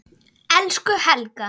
Elsku Helga.